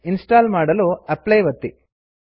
install ಮಾಡಲು apply ಒತ್ತಿ